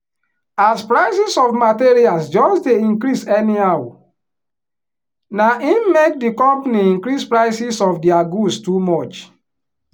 as prices of materials just dey increase anyhow naim make di company increase prices of dia goods too much